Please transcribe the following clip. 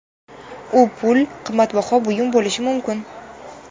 U pul, qimmatbaho buyum bo‘lishi mumkin.